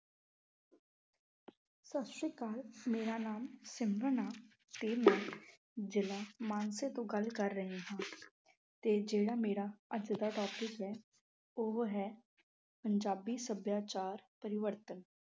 ਸਤਿ ਸ੍ਰੀ ਅਕਾਲ। ਮੇਰਾ ਨਾਮ ਸਿਮਰਨ ਆ ਤੇ ਮੈਂ ਜ਼ਿਲ੍ਹਾ ਮਾਨਸਾ ਤੋਂ ਗੱਲ ਕਰ ਰਹੀ ਹਾਂ ਤੇ ਜਿਹੜਾ ਮੇਰਾ ਅੱਜ ਦਾ topic ਹੈ, ਉਹ ਹੈ ਪੰਜਾਬੀ ਸੱਭਿਆਚਾਰ ਪਰਿਵਰਤਨ।